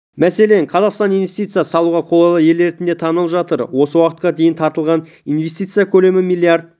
мәселен қазақстан инвестиция салуға қолайлы ел ретінде танылып жатыр осы уақытқа дейін тартылған инвестиция көлемі миллиард